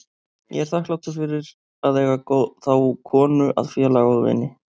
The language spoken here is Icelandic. Ég er þakklátur fyrir að eiga þá konu að félaga og vini.